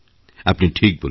আপনি ঠিক বলেছেন